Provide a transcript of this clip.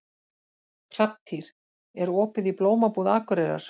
Hrafntýr, er opið í Blómabúð Akureyrar?